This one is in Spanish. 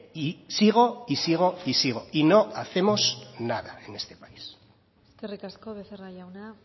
y sigo y sigo y sigo y no hacemos nada en este país eskerrik asko becerra jauna